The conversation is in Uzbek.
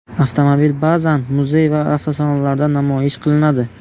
Avtomobil ba’zan muzey va avtosalonlarda namoyish qilinadi.